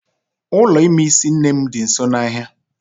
Ụlọ ime isi nne m di nso n'ahia